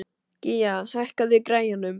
Gía, hækkaðu í græjunum.